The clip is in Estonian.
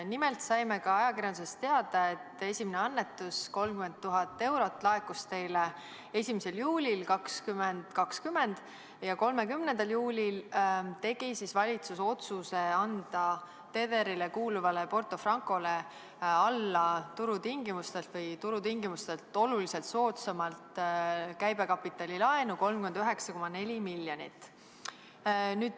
Nimelt saime ajakirjandusest veel teada, et esimene annetus, 30 000 eurot, laekus teile 1. juulil 2020 ja 30. juulil tegi valitsus otsuse anda Tederile kuuluvale Porto Francole turutingimustest oluliselt soodsamalt käibekapitalilaenu 39,4 miljonit.